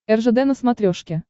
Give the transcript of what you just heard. ржд на смотрешке